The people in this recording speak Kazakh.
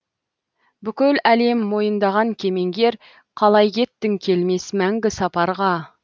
бүкіл әлем мойындаған кемеңгер қалай кеттің келмес мәңгі сапарға